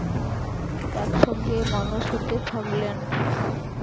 একসঙ্গে মানুষ হতে থাকলেন।